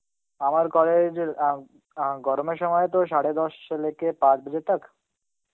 আমার college অ্যাঁ অ্যাঁ গরমের সময় তো সারে দশ Hindi পাঁচ Hindi